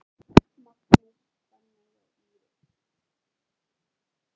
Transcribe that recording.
Magnús, Fanney og Íris.